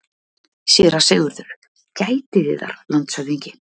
SÉRA SIGURÐUR: Gætið yðar, landshöfðingi.